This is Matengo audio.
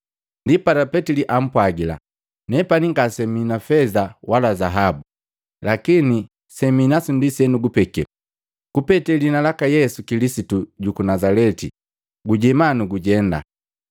Ndipala Petili ampwagila, “Nepani ngasemi na feza wala zaabu, lakini seminasu ndi senukupeke. Kupetee liina laka Yesu Kilisitu juku Nazaleti gujema nugujenda”